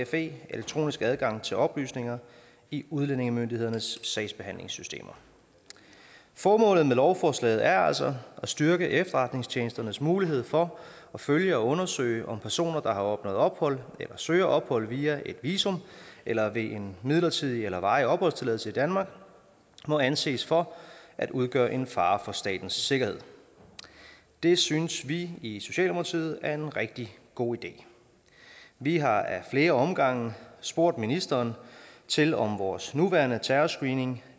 fe elektronisk adgang til oplysninger i udlændingemyndighedernes sagsbehandlingssystemer formålet med lovforslaget er altså at styrke efterretningstjenesternes mulighed for at følge og undersøge om personer der har opnået ophold eller søger ophold via et visum eller ved en midlertidig eller varig opholdstilladelse i danmark må anses for at udgøre en fare for statens sikkerhed det synes vi i socialdemokratiet er en rigtig god idé vi har ad flere omgange spurgt ministeren til om vores nuværende terrorscreening